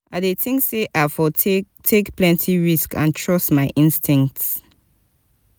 i dey think say i for take take plenty risks and trust my instincts.